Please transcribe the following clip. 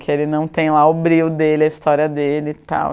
Que ele não tem lá o brio dele, a história dele e tal.